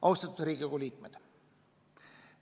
Austatud Riigikogu liikmed!